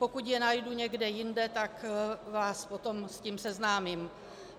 Pokud je najdu někde jinde, tak vás potom s tím seznámím.